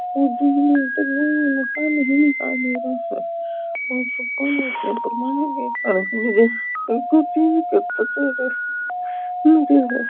मकान ही दिखाई दे रयो है एक आदमी चेंज करतो जा रहो है।